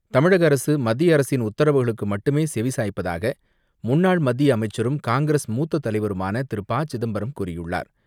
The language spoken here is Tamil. தமிழக அரசு மத்திய அரசின் உத்தரவுகளுக்கு மட்டுமே செவி சாய்ப்பதாக முன்னாள் மத்திய அமைச்சரும், காங்கிரஸ் மூத்த தலைவருமான திரு ப சிதம்பரம் கூறியுள்ளார்.